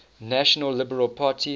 national liberal party